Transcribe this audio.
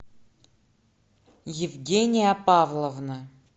евгения павловна